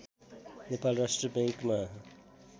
नेपाल राष्ट्र बैङ्कमा